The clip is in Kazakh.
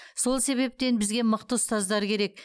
сол себептен бізге мықты ұстаздар керек